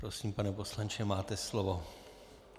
Prosím, pane poslanče, máte slovo.